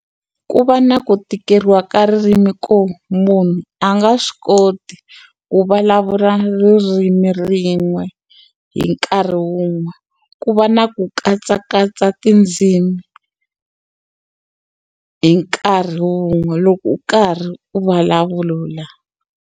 Ku va na ku tikeriwa ka ririmi ko munhu a nga swi koti ku vulavula ririmi rin'we hi nkarhi wun'we ku va na ku katsakatsa tindzimi hi nkarhi wun'we loko u karhi u vulavulula.